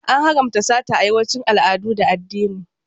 An haramta sata a yawancin al'adu da addini.